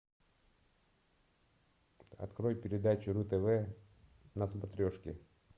открой передачу ру тв на смотрешке